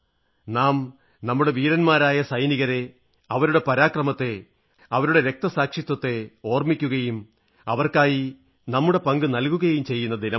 നാം നമ്മുടെ വീരന്മാരായ സൈനികരെ അവരുടെ പരാക്രമത്തെ അവരുടെ ബലിദാനത്തെ ഓർമ്മിക്കുകയും അവർക്കായി നമ്മുടെ പങ്ക് നൽകുകയും ചെയ്യുന്ന ദിനമാണത്